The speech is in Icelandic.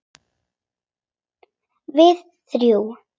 Við þrjú.